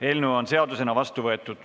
Eelnõu on seadusena vastu võetud.